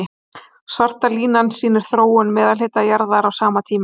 Svarta línan sýnir þróun meðalhita jarðar á sama tíma.